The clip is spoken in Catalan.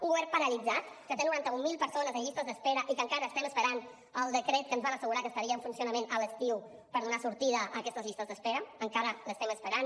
un govern paralitzat que té noranta mil persones en llistes d’espera i que encara estem esperant el decret que ens van assegurar que estaria en funcionament a l’estiu per donar sortida a aquestes llistes d’espera encara l’estem esperant